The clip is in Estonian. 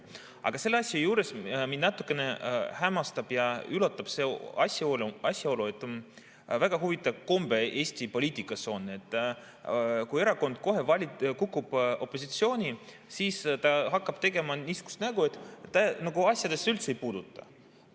Aga selle asja juures mind natuke hämmastab ja üllatab see asjaolu, et Eesti poliitikas on väga huvitav komme: kui erakond kukub opositsiooni, siis ta hakkab kohe tegema niisugust nägu, et teda need asjad üldse ei puuduta.